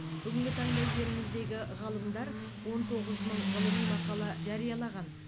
бүгінгі таңда еліміздегі ғалымдар он тоғыз мың ғылыми мақала жариялаған